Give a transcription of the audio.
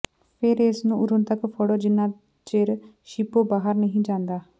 ਫਿਰ ਇਸ ਨੂੰ ਉਦੋਂ ਤਕ ਫੜੋ ਜਿੰਨਾ ਚਿਰ ਸ਼ੀਪੋਂ ਬਾਹਰ ਨਹੀਂ ਜਾਂਦਾ